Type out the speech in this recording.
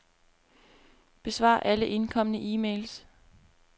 Besvar alle indkomne e-mails.